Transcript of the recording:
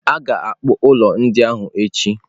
A ga-ekpu ụlọ ndị ahụ echi.